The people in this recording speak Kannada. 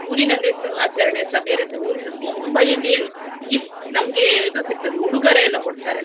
ಊರಿನಲ್ಲಿ ಸ್~ ಆಚರಣೆಸ ಬೇರೆ ಇರ್ತದೆ. ಊರಿನ್~ ಮುಂಬೈಯಲ್ಲಿ ಏನು gift ನಮ್ಗೆ ಇದು ಸಿಗ್ತದೆ ಉಡುಗೊರೆ ಎಲ್ಲಾ ಕೊಡ್ತಾರೆ.